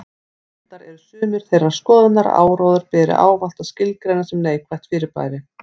Reyndar eru sumir þeirrar skoðunar að áróður beri ávallt að skilgreina sem neikvætt fyrirbæri.